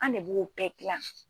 An ne b'o bɛɛ gilan.